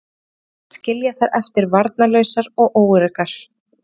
Mér fannst ég vera að skilja þær eftir varnarlausar og óöruggar.